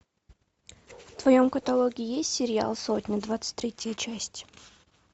в твоем каталоге есть сериал сотня двадцать третья часть